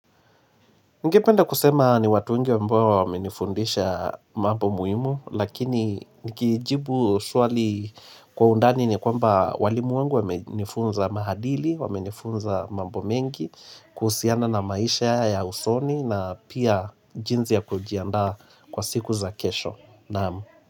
Ningependa kusema ni watu wengi ambao wamenifundisha mambo muhimu, lakini nikijibu swali kwa undani ni kwamba walimu wangu wamenifunza maadili, wamenifunza mambo mengi, kuhusiana na maisha ya usoni na pia jinsi ya kujiandaa kwa siku za kesho.